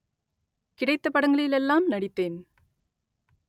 கிடைத்த படங்களிலெல்லாம் நடித்தேன்